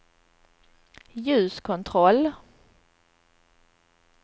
ljuskontroll